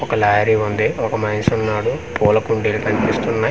ఒక లారీ ఉంది ఒక మనిషి ఉన్నాడు పుల్లా కుండీలు కనిపిస్తున్నాయి.